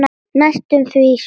Næstum því sveit.